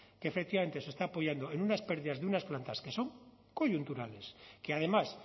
que efectivamente se está apoyando en unas pérdidas de unas plantas que son coyunturales que además